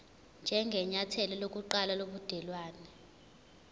njengenyathelo lokuqala lobudelwane